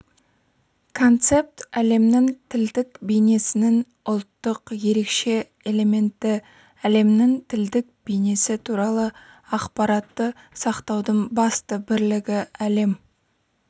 концепт әлемнің тілдік бейнесінің ұлттық ерекше элементі әлемнің тілдік бейнесі туралы ақпаратты сақтаудың басты бірлігі әлем